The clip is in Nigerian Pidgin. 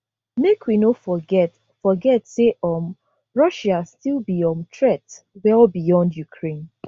make we no forget forget say um russia still be um threat well beyond ukraine